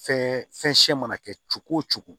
Fɛn fɛn siya mana kɛ cogo o cogo